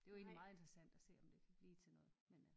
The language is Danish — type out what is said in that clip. Det jo egentlig meget interessant at se om det kan blive til noget men øh